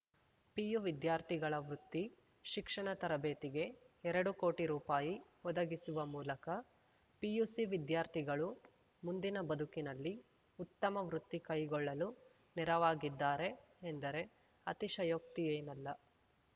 PU ವಿದ್ಯಾರ್ಥಿಗಳ ವೃತ್ತಿ ಶಿಕ್ಷಣ ತರಬೇತಿಗೆ ಎರಡು ಕೋಟಿ ರೂಪಾಯಿ ಒದಗಿಸುವ ಮೂಲಕ ಪಿಯುಸಿ ವಿದ್ಯಾರ್ಥಿಗಳು ಮುಂದಿನ ಬದುಕಿನಲ್ಲಿ ಉತ್ತಮ ವೃತ್ತಿ ಕೈಗೊಳ್ಳಲು ನೆರವಾಗಿದ್ದಾರೆ ಎಂದರೆ ಅತಿಶಯೋಕ್ತಿಯೇನಲ್ಲ